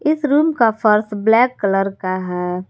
इस रूम का फर्श ब्लैक कलर का है।